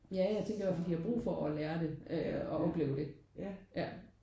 Ja jeg tænker i hvert fald de har brug for at lære det øh og opleve det ja